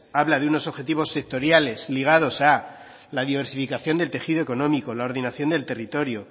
habla de objetivos sectoriales ligados a la diversificación del tejido económico la ordenación del territorio